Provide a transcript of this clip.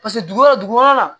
Paseke dugu wɛrɛ dugu kɔnɔna na